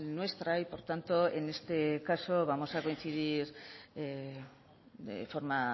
nuestra y por tanto en este caso vamos a coincidir de forma